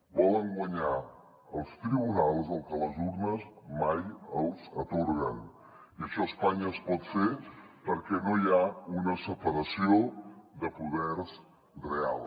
volen guanyar als tribunals el que les urnes mai els atorguen i això a espanya es pot fer perquè no hi ha una separació de poders real